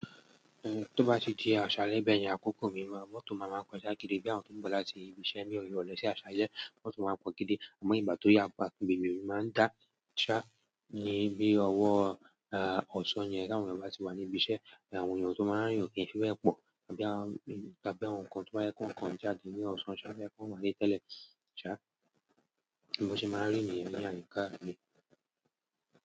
Eh, tó bá ti di àṣálẹ́ bẹ̀yẹn, àkókò mìíràn mọ́tò máa máa kọjá gidi bí àwọn tó ń bọ̀ láti ibi iṣẹ́ ní ìrọ̀lẹ́ sí àṣálẹ́ mọ́tò máa pọ̀ gidi. Àmọ́ ìgbà tó yà pá, ibẹ̀mí máa ń dá ṣá níbi ọwọ́, ah, ọ̀ṣán yẹn tí àwọn ènìyàn bá ti wà ní ibi iṣẹ́. Àwọn ènìyàn tó máa ń rìn kí n fi bẹ̀ pọ̀ bí àwọn, bí i àwọn nǹkan tí wọ́n yẹ kó nǹkan já di ní ọ̀ṣọ́ ṣá ẹ fẹ́ kó wá ní tẹ́lẹ̀ ṣá, bí wọ́n ṣe máa ń rí ènìyàn dáadáa ní ká ní.